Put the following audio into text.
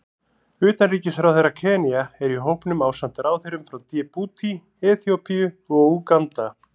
Utanríkisráðherra Kenía er í hópnum ásamt ráðherrum frá Djíbútí, Eþíópíu og Úganda.